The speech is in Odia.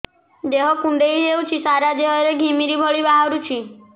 ଦେହ କୁଣ୍ଡେଇ ହେଉଛି ସାରା ଦେହ ରେ ଘିମିରି ଭଳି ବାହାରୁଛି